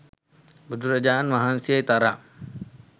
බුදුරජාණන් වහන්සේ තරම්